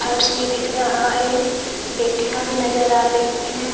फर्श भी दिख रहा है पेटियां भी नजर आ रही है।